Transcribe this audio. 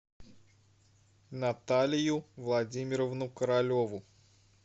наталию владимировну королеву